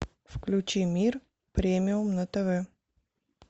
включи мир премиум на тв